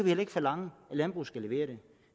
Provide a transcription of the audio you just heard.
heller ikke forlange at landbruget skal levere